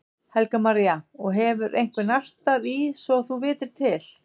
Helga María: Og hefur einhver nartað í svo þú vitir til?